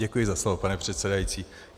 Děkuji za slovo, pane předsedající.